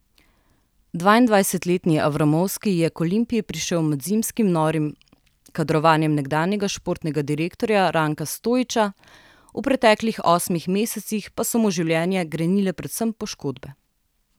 Dvaindvajsetletni Avramovski je k Olimpiji prišel med zimskim norim kadrovanjem nekdanjega športnega direktorja Ranka Stojića, v preteklih osmih mesecih pa so mu življenje grenile predvsem poškodbe.